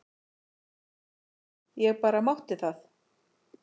Ég bara mátti það!